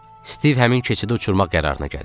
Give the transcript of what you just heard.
Stiv həmin keçidi uçurmaq qərarına gəlib.